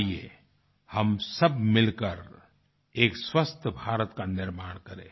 आइये हम सब मिलकर एक स्वस्थ भारत का निर्माण करें